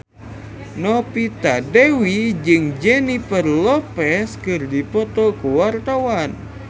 Novita Dewi jeung Jennifer Lopez keur dipoto ku wartawan